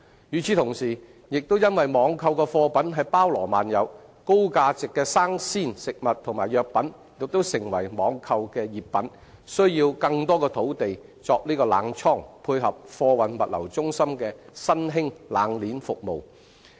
與時同時，亦因網購的貨品包羅萬有，高價值的生鮮食物和藥品亦成為網購的熱品，需要更多的土地作冷倉，以配合貨運物流中心的新興"冷鍊"服務。